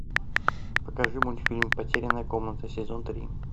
покажи мультфильм потерянная комната сезон три